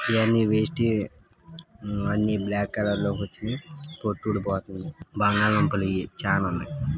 ఇయన్నీ వేస్ట్ యే అన్నీ బ్లాక్ కలర్ లోకి వచ్చినియి పొట్టు ఊడిపోతుంది బంగాళా దుంపలు ఈ చాల ఉన్నాయ్.